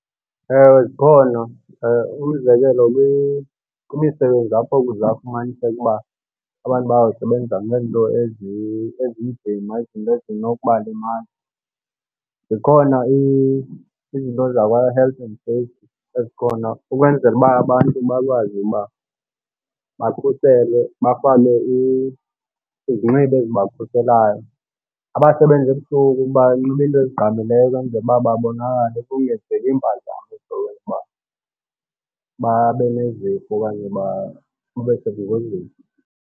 Ewe, zikhona. Umzekelo kwimisebenzi apho kuzawufumaniseka uba abantu bayawusebenzela ngeento ezinzima, izinto ezinokuba limaza, zikhona izinto zakwa-health and safety ezikhona ukwenzela uba abantu bakwazi uba bakhuselwe, bafake izinxibo ezibakhuselayo. Abasebenza ebusuku banxibe into ezigqamileyo ukwenzela uba babonakale kungenzeki mpazamo ezizokwenza ukuba babe nezifo okanye babe sengozini.